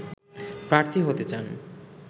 প্রার্থী হতে চান